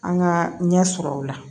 An ka ɲɛ sɔrɔ o la